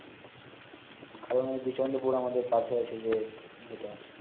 কারন ঐ বিচান পোর আমাদের পাশে আসে যে যেটা